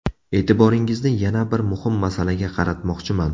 E’tiboringizni yana bir muhim masalaga qaratmoqchiman.